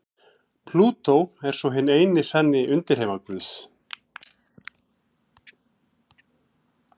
Plútó er svo hinn eini sanni undirheimaguð.